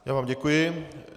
Já vám děkuji.